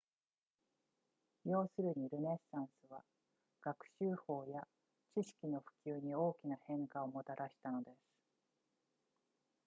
要するにルネサンスは学習法や知識の普及に大きな変化をもたらしたのです